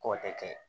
K'o tɛ kɛ